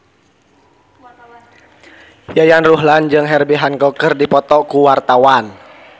Yayan Ruhlan jeung Herbie Hancock keur dipoto ku wartawan